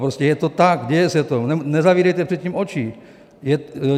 Prostě je to tak, děje se to, nezavírejte před tím oči!